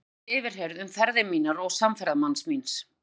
Svo var ég yfirheyrð um ferðir mínar og samferðamanns míns.